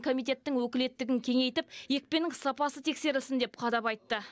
комитеттің өкілеттігін кеңейтіп екпенің сапасы тексерілсін деп қадап айтты